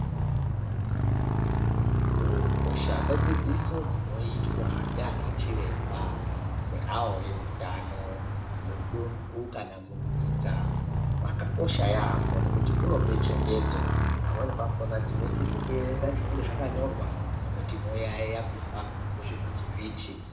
Kukosha kwedzidziso dzinoitwa ndiana chiremba neavo veutano mundu kana munyika kwakakosha yambo nekuti kunope chenjedzo pamweni pakona tinoita zvekuerenga zvinenge zvakanyorwa pamweni tinoyayiya kubva kuzvivhiti vhiti.